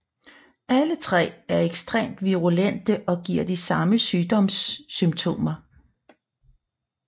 Alle tre er ekstremt virulente og giver de samme sygdomssymptomer